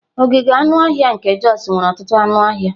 Ogige anụ ọhịa nke Jos nwere ọtụtụ anụ ọhịa.